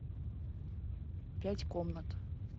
пять комнат